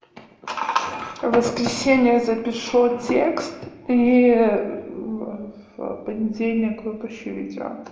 в воскресенье запишу текст и в понедельник выпущу видео